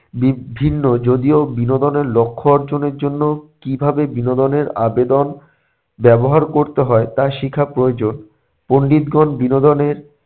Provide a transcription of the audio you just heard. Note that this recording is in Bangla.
বি~ বিভিন্ন যদিও বিনোদনের লক্ষ্য অর্জনের জন্য কীভাবে বিনোদনের আবেদন ব্যবহার করতে হয় তা শেখা প্রয়োজন। পণ্ডিতগণ বিনোদনের